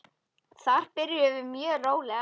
Þar byrjum við mjög rólega.